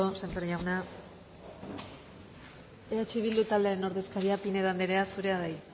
sémper jauna eh bildu taldearen ordezkaria pinedo andrea zurea da hitza